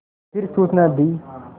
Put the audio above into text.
फिर सूचना दी